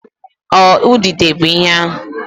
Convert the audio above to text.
Ọ idide bụ ihe ahụ?